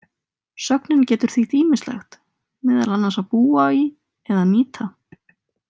Sögnin getur þýtt ýmislegt, meðal annars að búa í eða nýta.